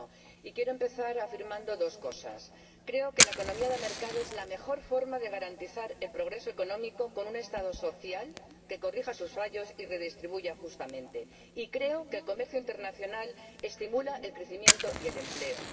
Y quiero empezar afirmando dos cosas creo que la economía de mercado es la mejor forma de garantizar el progreso económico con un Estado social que corrija sus fallos y redistribuya justamente, y creo que el comercio internacional estimula el crecimiento y el empleo.